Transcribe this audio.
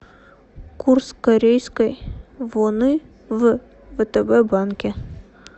курс корейской воны в втб банке